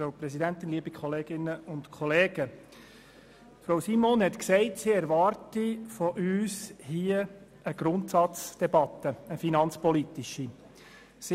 Frau Regierungsrätin Simon hat gesagt, sie erwarte von uns eine finanzpolitische Grundsatzdebatte.